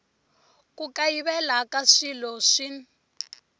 ku kayivela ka swilo swin